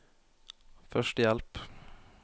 førstehjelp